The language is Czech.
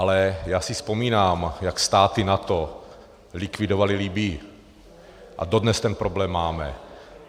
Ale já si vzpomínám, jak státy NATO likvidovaly Libyi, a dodnes ten problém máme.